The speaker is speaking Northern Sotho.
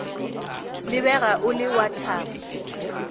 lebega o le wa thabo